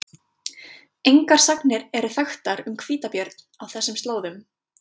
Engar sagnir eru þekktar um hvítabjörn á þessum slóðum.